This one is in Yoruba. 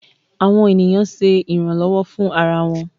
Awọn eniyan ṣe iranlọwọ fun ara wọn.